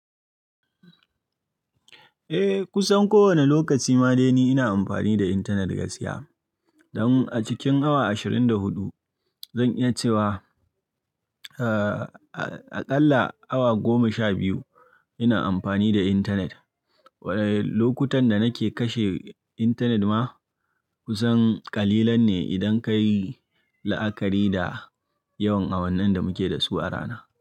Eh, kusan kowane lokaci ma dai ni ina amfani da intanet gaskiya. Don a cikin awa ashirin da hudu zan iya cewa,, aƙalla awa goma sha biyu ina amfani da intanet. Waɗanne lokutan da nake kashe intanet ma kusan ƙalilan ne idan ka yi la'akari da yawan awannin da muke da su a rana.